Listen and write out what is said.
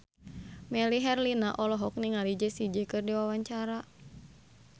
Melly Herlina olohok ningali Jessie J keur diwawancara